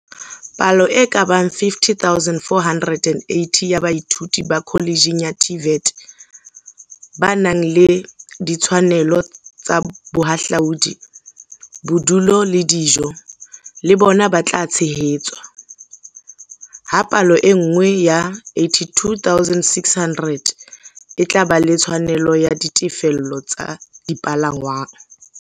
Palo e ka bang 50 480 ya baithuti ba kholetjheng ya TVET, ba nang le ditshwanelo tsa bohahlaudi, bodulo le dijo, le bona ba tla tshehetswa, ha palo e nngwe ya 82 600 e tla ba le tshwanelo ya ditefello tsa dipalangwang.